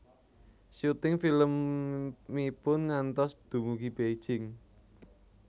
Syuting filmipun ngantos dumugi Beijing